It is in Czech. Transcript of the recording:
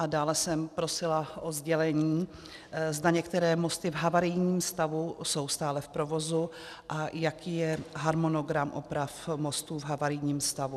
A dále jsem prosila o sdělení, zda některé mosty v havarijním stavu jsou stále v provozu a jaký je harmonogram oprav mostů v havarijním stavu.